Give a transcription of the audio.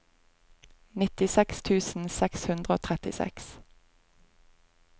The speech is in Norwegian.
nittiseks tusen seks hundre og trettiseks